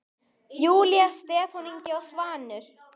Júlía, Stefán Ingi og Svanur.